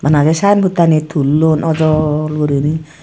sign board Ani thullon ojol guriney.